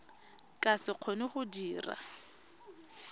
ka se kgone go dira